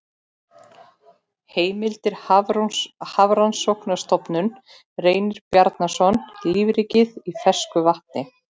Heimildir Hafrannsóknarstofnun Reynir Bjarnason, Lífríkið í fersku vatni.